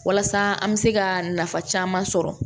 Walasa an bɛ se ka nafa caman sɔrɔ